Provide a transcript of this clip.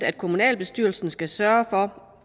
at kommunalbestyrelsen skal sørge for